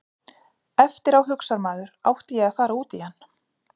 Eftir á hugsar maður átti ég að fara út í hann?